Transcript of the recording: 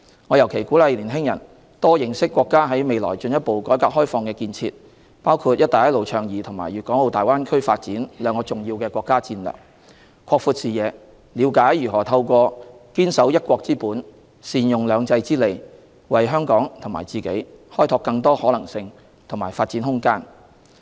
我尤其鼓勵年輕人多認識國家在未來進一步改革開放的建設，包括"一帶一路"倡議和粵港澳大灣區發展兩大重要的國家戰略，擴闊視野，了解如何透過堅守"一國"之本，善用"兩制"之利，為香港和自己開拓更多可能性和發展空間。